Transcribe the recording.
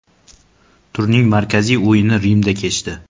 Turning markaziy o‘yini Rimda kechdi.